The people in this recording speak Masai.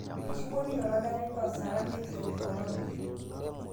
Eishiwuo ninye oladalni loosara Metiaki Korona